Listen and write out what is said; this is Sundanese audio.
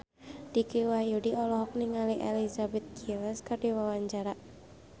Dicky Wahyudi olohok ningali Elizabeth Gillies keur diwawancara